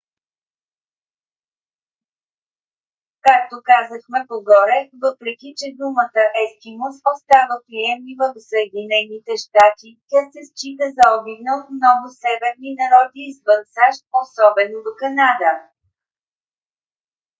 както казахме по-горе въпреки че думата ескимос остава приемлива в съединените щати тя се счита за обидна от много северни народи извън сащ особено в канада